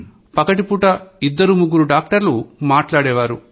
పగటి పూట ఇద్దరు ముగ్గురు డాక్టర్లు మాట్లాడేవాళ్లు